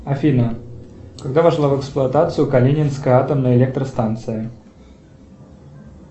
афина когда вошла в эксплуатацию калининская атомная электростанция